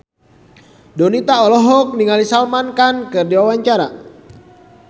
Donita olohok ningali Salman Khan keur diwawancara